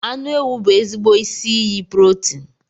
Anụ ewu bụ ezigbo isi iyi protin